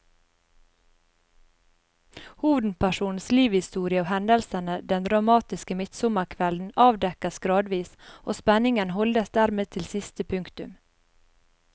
Hovedpersonens livshistorie og hendelsene den dramatiske midtsommerkvelden avdekkes gradvis, og spenningen holdes dermed til siste punktum.